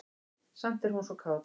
Samt er hún svo kát.